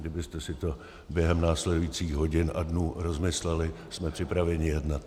Kdybyste si to během následujících hodin a dnů rozmysleli, jsme připraveni jednat.